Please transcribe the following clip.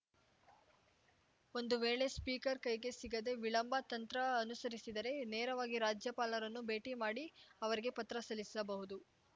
ಒಂದು ವೇಳೆ ಸ್ಪೀಕರ್‌ ಕೈಗೆ ಸಿಗದೆ ವಿಳಂಬ ತಂತ್ರ ಅನುಸರಿಸಿದರೆ ನೇರವಾಗಿ ರಾಜ್ಯಪಾಲರನ್ನು ಭೇಟಿ ಮಾಡಿ ಅವರಿಗೇ ಪತ್ರ ಸಲ್ಲಿಸಬಹುದು